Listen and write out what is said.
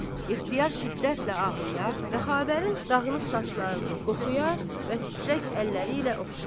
İxtiyar şiddətlə ağlayar və xavərin dağınıq saçlarını qoxuyar və titrək əlləri ilə oxşar.